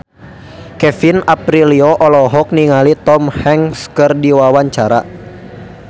Kevin Aprilio olohok ningali Tom Hanks keur diwawancara